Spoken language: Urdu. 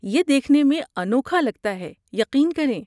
یہ دیکھنے میں انوکھا لگتاہے، یقین کریں۔